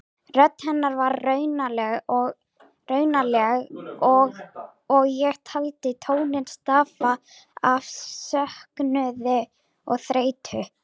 Rödd hennar var raunaleg og ég taldi tóninn stafa af söknuði og þreytu.